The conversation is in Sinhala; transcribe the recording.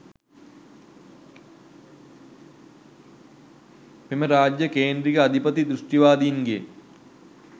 මෙම රාජ්‍ය කේන්ද්‍රික අධිපති දෘෂ්ටිවාදීන්ගේ